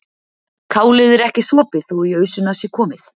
Kálið er ekki sopið þó í ausuna sé komið.